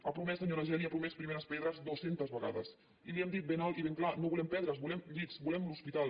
ha promès senyora geli les ha promès primeres pedres dues centes vegades i li hem dit ben alt i ben clar no volem pedres volem llits volem l’hospital